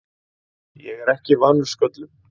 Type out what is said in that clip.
Ég er ekki vanur sköllum.